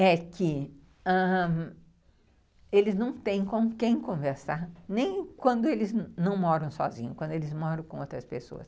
é que ãh eles não têm com quem conversar, nem quando eles não moram sozinhos, quando eles moram com outras pessoas.